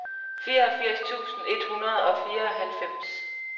fireogfirs tusind et hundrede og fireoghalvfems